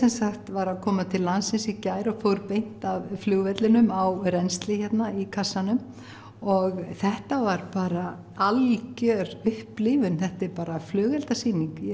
var að koma til landsins í gær og fór beint af flugvellinum á rennslið hérna í kassanum og þetta var bara algjör upplifun þetta er bara flugeldasýning ég